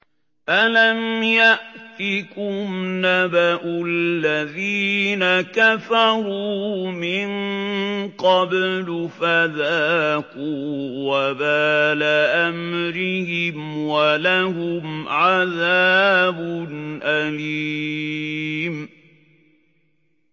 أَلَمْ يَأْتِكُمْ نَبَأُ الَّذِينَ كَفَرُوا مِن قَبْلُ فَذَاقُوا وَبَالَ أَمْرِهِمْ وَلَهُمْ عَذَابٌ أَلِيمٌ